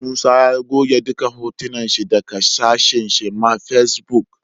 Musa ya goge duka hotunan shi daka shafin shi ma face book